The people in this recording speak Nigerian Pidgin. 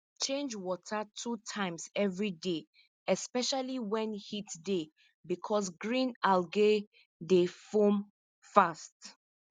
change water two times every day especially when heat dey because green algae dey form fast